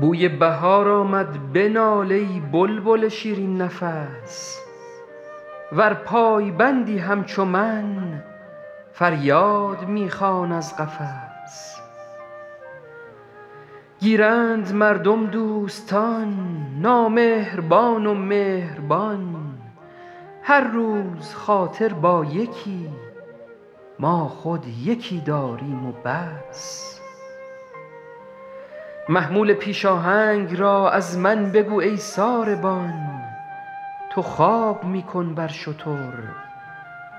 بوی بهار آمد بنال ای بلبل شیرین نفس ور پایبندی همچو من فریاد می خوان از قفس گیرند مردم دوستان نامهربان و مهربان هر روز خاطر با یکی ما خود یکی داریم و بس محمول پیش آهنگ را از من بگو ای ساربان تو خواب می کن بر شتر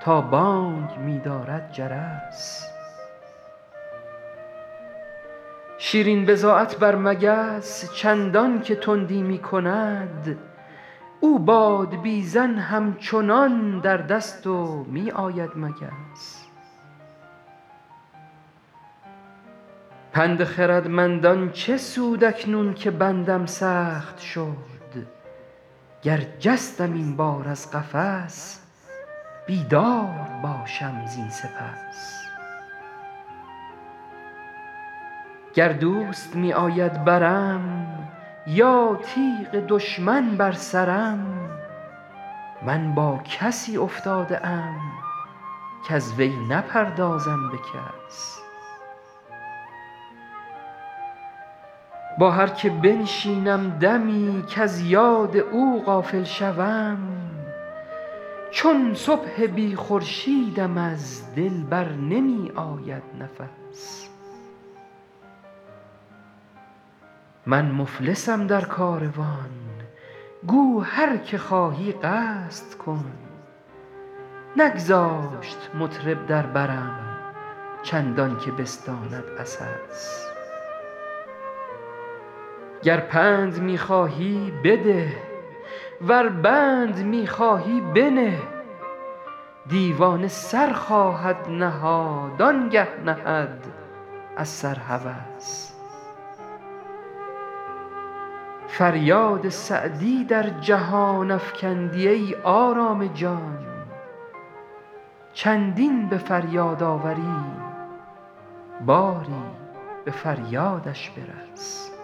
تا بانگ می دارد جرس شیرین بضاعت بر مگس چندان که تندی می کند او بادبیزن همچنان در دست و می آید مگس پند خردمندان چه سود اکنون که بندم سخت شد گر جستم این بار از قفس بیدار باشم زین سپس گر دوست می آید برم یا تیغ دشمن بر سرم من با کسی افتاده ام کز وی نپردازم به کس با هر که بنشینم دمی کز یاد او غافل شوم چون صبح بی خورشیدم از دل بر نمی آید نفس من مفلسم در کاروان گو هر که خواهی قصد کن نگذاشت مطرب در برم چندان که بستاند عسس گر پند می خواهی بده ور بند می خواهی بنه دیوانه سر خواهد نهاد آن گه نهد از سر هوس فریاد سعدی در جهان افکندی ای آرام جان چندین به فریاد آوری باری به فریادش برس